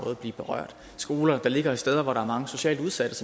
vil blive berørt skoler der ligger steder hvor der er mange socialt udsatte